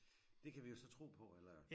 Det kan vi jo så tro på eller?